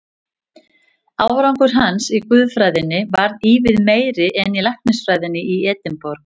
Árangur hans í guðfræðinni varð ívið meiri en í læknisfræðinni í Edinborg.